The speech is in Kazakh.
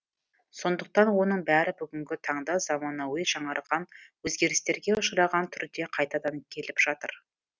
сондықтан оның бәрі бүгінгі таңда заманауи жаңарған өзгерістерге ұшыраған түрде қайтадан келіп жатыр